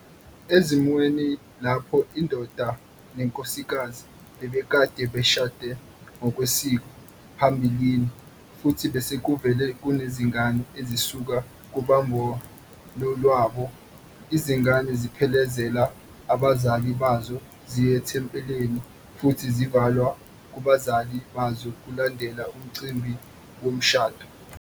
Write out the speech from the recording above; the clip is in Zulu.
Ezimweni lapho indoda nenkosikazi bebekade beshade ngokwesiko phambilini futhi besekuvele kunezingane ezisuka kubumbano lwabo, izingane ziphelezela abazali bazo ziye ethempelini futhi zivalwa kubazali bazo kulandela umcimbi womshado.